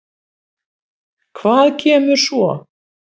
Hvað kemur svo?